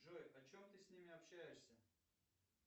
джой о чем ты с ними общаешься